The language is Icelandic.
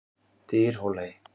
Dyrhólaey